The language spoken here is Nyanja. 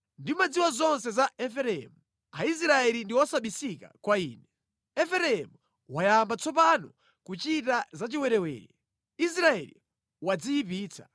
Ndimadziwa zonse za Efereimu; Aisraeli ndi osabisika kwa Ine. Efereimu wayamba tsopano kuchita zachiwerewere; Israeli wadziyipitsa.